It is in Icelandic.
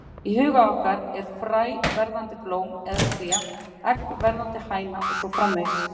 Í huga okkar er fræ verðandi blóm eða tré, egg verðandi hæna og svo framvegis.